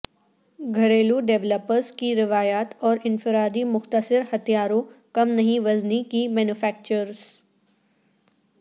گھریلو ڈویلپرز کی روایات اور انفرادی مختصر ہتھیاروں کم نہیں وزنی کی مینوفیکچررز